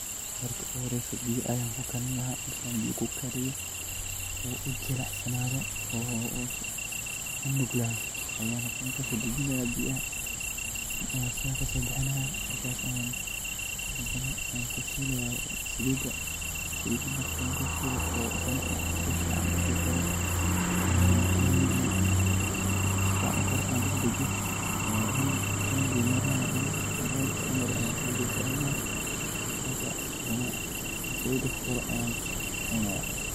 Markii ugu horreysay Salida ayaan kornay. Ama haddii aad rabto in aad si qurux badan u dhigto: Markii ugu horreysay ee aan arko Salida, waxaan ahaa qof aad u faraxsan. Haddii aad rabto paragraf dheer oo qeexaya dhacdadaas ama dareenkaaga, fadlan ii sheeg si aan u sii faahfaahiyo.